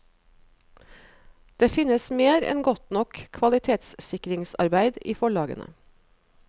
Det finnes mer enn godt nok kvalitetssikringsarbeid i forlagene.